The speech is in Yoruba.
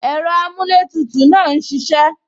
Ẹ̀rọ amuletutu náà ń ṣisẹ